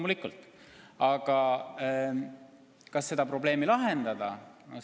Aga kas üldse seda probleemi lahendada?